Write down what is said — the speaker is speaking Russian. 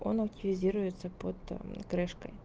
он активизируется под крышкой